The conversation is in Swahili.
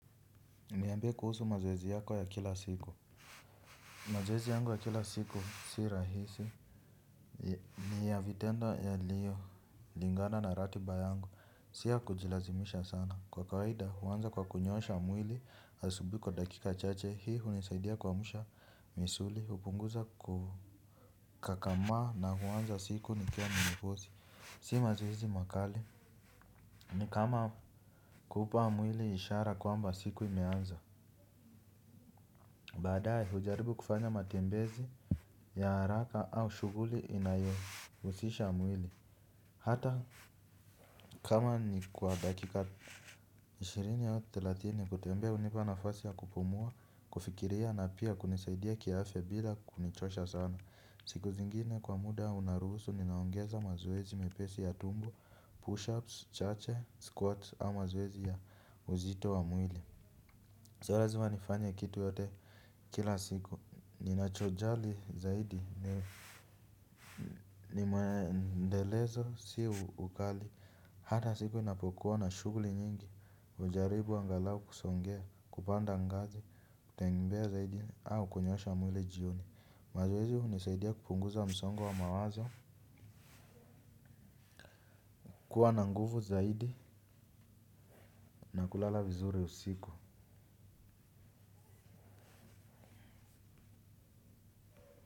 Niambie kuhusu mazoezi yako ya kila siku. Mazoezi yangu ya kila siku si rahisi. Ni ya vitendo yaliyolingana na ratiba yangu si ya kujilazimisha sana kwa kawaida huanza kwa kunyoosha mwili asubuhi kwa dakika chache hii hunisaidia kuamsha misuli hupunguza kukakamaa na huanza siku nikiwa na mikosi si mazoezi makali ni kama kupa mwili ishara kwamba siku imeanza. Baadaya kujaribu kufanya matembezi ya haraka au shughuli inayohusisha mwili. Hata kama ni kwa dakika ishirini au thelathini kutembea hunipa nafasi ya kupumua, kufikiria na pia kunisaidia kiafya bila kunichosha sana. Siku zingine kwa muda unaruhusu ninaongeza mazoezi mepesi ya tumbo, push-ups, chache, squats au mazoezi ya uzito wa mwili sio lazima nifanye kitu yote kila siku, ninachojali zaidi, nimeendelezwa, si ukali. Hata siku inapokuwa na shughuli nyingi, hujaribu angalawu kusongea, kupanda ngazi, kutembea zaidi au kunyoosha mwili jioni. Mazoezi hunisaidia kupunguza msongo wa wa mawazo, kuwa na nguvu zaidi, na kulala vizuri usiku.